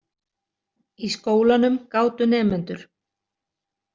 Í skólanum gátu nemendur.